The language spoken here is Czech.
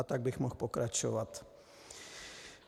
A tak bych mohl pokračovat.